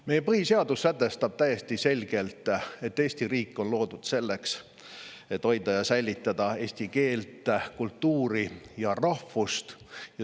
Meie põhiseadus sätestab täiesti selgelt, et Eesti riik on loodud selleks, et hoida ja säilitada eesti keelt, kultuuri ja rahvust.